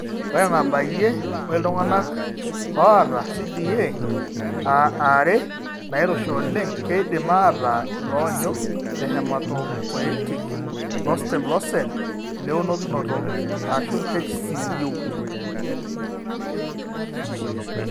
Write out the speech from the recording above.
Ore enabayie, ore iltung'anak oata CDA are nairoshi oleng keidim aataa iloonyu lehematopoietic lostem locell leunokinoto (HSCU).